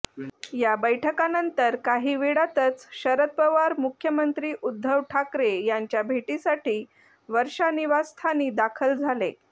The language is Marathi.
या बैठकांनंतर काही वेळातच शरद पवार मुख्यमंत्री उद्धव ठाकरे यांच्या भेटीसाठी वर्षा निवासस्थानी दाखल झाले